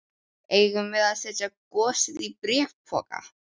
Eigum við að setja gosið í bréfpoka?